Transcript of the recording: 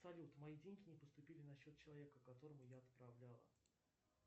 салют мои деньги не поступили на счет человека которому я отправлял